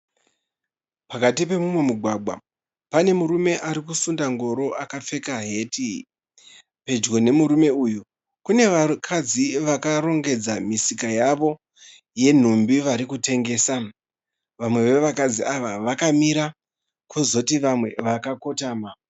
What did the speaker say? Pakati pemumwe mugwagwa pane murume arikusunda ngoro akapfeka heti. Pedyo nemurume uyu kune vakadzi vakarongedza misika yavo yenhumbi vari kutengesa. Vamwe vevakadzi ava vakamira kozoti vamwe vakakotama.